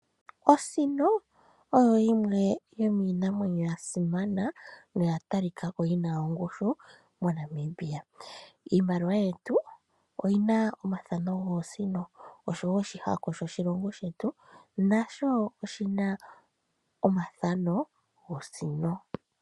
Osino oyo yimwe yomiinamwenyo ya simana noya talikaka ko yina ongushu mo Namibia. Iimaliwa yetu oyina omathano goosino osho woo oshihako shoshilongo shetu nasho oshina omathano gosino.